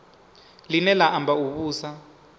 line la amba u vhusa